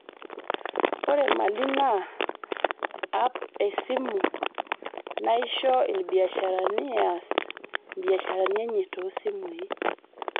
Ore Mali naa ap e simu naisho ilbiasharani eaas imbiasharani enye too simui.